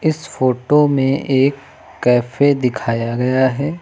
इस फोटो में एक कैफ़े दिखाया गया है।